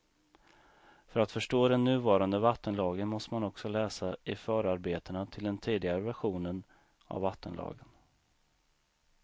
För att förstå den nuvarande vattenlagen måste man också läsa i förarbetena till den tidigare versionen av vattenlagen.